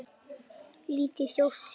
Lítil þjóð syrgir.